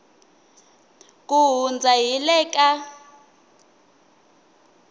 ku hundza hi le ka